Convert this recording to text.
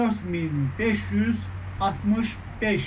4565.